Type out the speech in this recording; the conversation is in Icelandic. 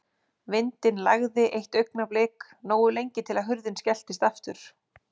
Vindinn lægði eitt augnablik, nógu lengi til að hurðin skelltist aftur.